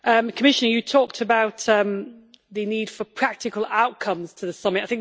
Commissioner, you talked about the need for practical outcomes to the summit